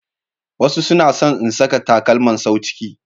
Wasu suna son in saka takalma sau ciki.